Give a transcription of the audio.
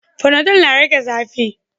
Fanadol na rage zafi